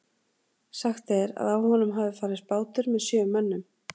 Sagt er að á honum hafi farist bátur með sjö mönnum.